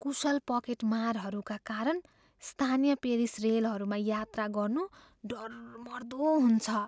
कुशल पकेटमारहरूका कारण स्थानीय पेरिस रेलहरूमा यात्रा गर्नु डरमर्दो हुन्छ।